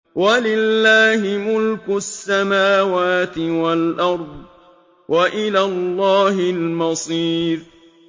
وَلِلَّهِ مُلْكُ السَّمَاوَاتِ وَالْأَرْضِ ۖ وَإِلَى اللَّهِ الْمَصِيرُ